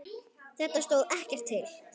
Þetta stóð ekkert til.